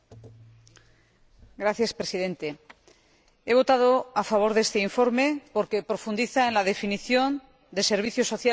Señor Presidente, he votado a favor de este informe porque profundiza en la definición de servicios sociales de interés general.